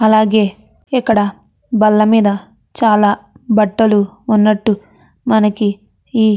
అలాగే ఇక్కడ బళ్లమీద చాల బట్టలు ఉన్నట్టు మనకి ఈ --